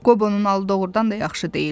Qobonun halı doğurdan da yaxşı deyildi.